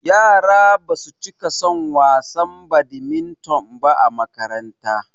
Yara basu cika son wasan badimiton ba a makaranta